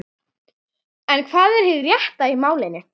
En hvað er hið rétta í málinu?